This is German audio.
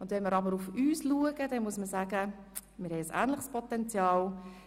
Wenn wir hier im Grossen Rat schauen, haben wir mit 45 Frauen und 115 Männern ein ähnliches Potenzial.